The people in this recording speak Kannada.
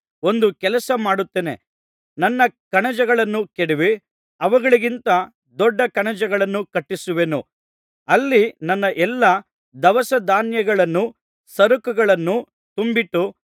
ಒಂದು ಕೆಲಸ ಮಾಡುತ್ತೇನೆ ನನ್ನ ಕಣಜಗಳನ್ನು ಕೆಡವಿ ಅವುಗಳಿಗಿಂತ ದೊಡ್ಡ ಕಣಜಗಳನ್ನು ಕಟ್ಟಿಸುವೆನು ಅಲ್ಲಿ ನನ್ನ ಎಲ್ಲಾ ದವಸಧಾನ್ಯಗಳನ್ನೂ ಸರಕುಗಳನ್ನು ತುಂಬಿಟ್ಟು